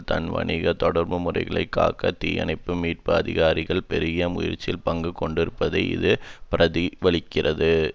தன் வணிக தொடர்பு முறைகளை காக்க தீயணைப்பு மீட்பு அதிகாரிகள் பெருகிய முறையில் பங்கு கொண்டிருப்பதை இது பிரதி பலிக்கிறது